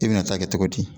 I bɛna taa kɛ cogo di